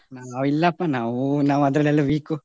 ನಾವು ಇಲ್ಲಪ್ಪ ನಾವು ನಾವು ಅದ್ರಲ್ಲೆಲ್ಲ weak ಉ.